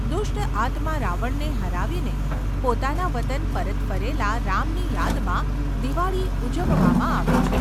દુષ્ટ આત્મા રાવણને હરાવીને પોતાના વતન પરત ફરેલા રામની યાદમાં દિવાળી ઉજવવામાં આવે છે.